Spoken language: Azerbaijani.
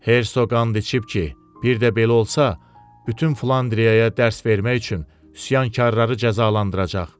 Hersoq qan içib ki, bir də belə olsa, bütün Flandriyaya dərs vermək üçün üsyankarları cəzalandıracaq.